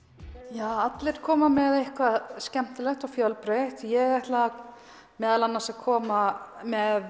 ja allir koma með eitthvað skemmtilegt og fjölbreytt ég ætla meðal annars að koma með